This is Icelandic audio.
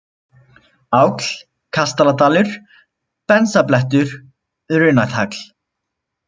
Áll, Kastaladalur, Bensablettur, Runatagl